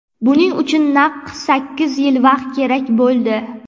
Buning uchun naq sakkiz yil vaqt kerak bo‘ldi.